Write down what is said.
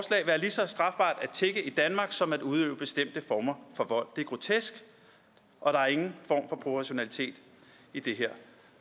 tigge i danmark som at udøve bestemte former for vold det er grotesk og der er ingen form for proportionalitet i det her